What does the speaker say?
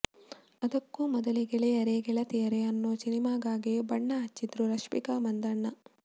ಅದಕ್ಕೂ ಮೊದಲೇ ಗೆಳೆಯರೇ ಗೆಳತಿಯರೇ ಅನ್ನೋ ಸಿನಿಮಾಗಾಗಿ ಬಣ್ಣ ಹಚ್ಚಿದ್ರು ರಶ್ಮಿಕಾ ಮಂದಣ್ಣ